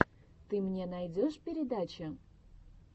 ты мне найдешь передачи